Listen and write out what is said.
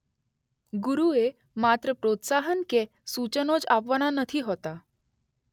ગુરુએ માત્ર પ્રોત્સાહન કે સૂચનો જ આપવાના નથી હોતા.